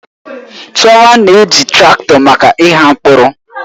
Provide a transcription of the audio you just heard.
Chioma na-eji traktọ maka ịgha mkpụrụ.